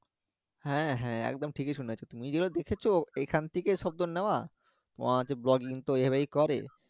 হ্যাঁ হ্যাঁ, একদম ঠিকই শুনেছো তুমি ঐগুলো দেখেছো এখান থেকে নেওয়া তোমার হচ্ছে তো এভাবেই করে